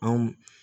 Anw